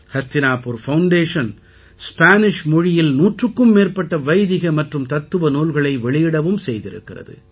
Hastinapur foundation Spanish மொழியில் நூற்றுக்கும் மேற்பட்ட வைதிக மற்றும் தத்துவ நூல்களை வெளியிடவும் செய்திருக்கிறது